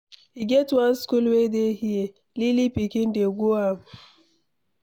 E get one school wey dey here, lily pikin dey go am.